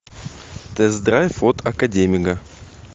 тест драйв от академига